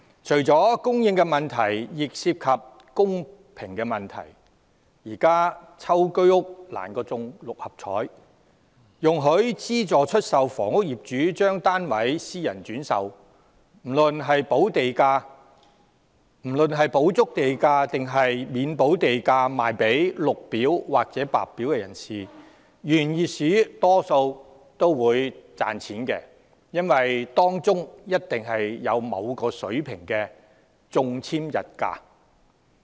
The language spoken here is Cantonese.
除了供應問題亦涉及公平問題，現時居屋中籤比中六合彩更難，容許資助出售房屋業主將單位私人轉售，不論是補足地價抑或未補地價售予綠表或白表申請者，原業主大多會獲利，因為當中必有某個水平的中籤溢價。